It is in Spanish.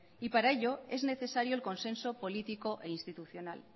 y para ello es necesario el consenso político e institucional